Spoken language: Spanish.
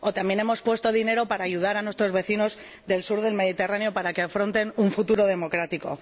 También hemos puesto dinero para ayudar a nuestros vecinos del sur del Mediterráneo para que afronten un futuro democrático.